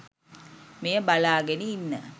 මෙය බලාගෙන ඉන්න